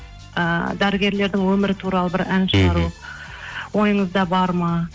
ы дәрігерлердің өмірі туралы бір ән шығару ойыңызда бар ма